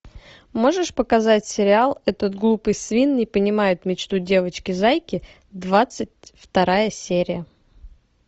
можешь показать сериал этот глупый свин не понимает мечту девочки зайки двадцать вторая серия